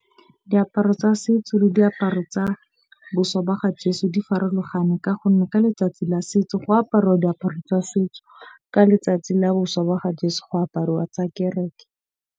Diaparo tsa setso le diaparo tsa ga jeso di farologane. Ka gonne ka letsatsi la setso go aparuwa diaparo tsa setso. Ka letsatsi la ga jeso go aparuwa tsa kereke.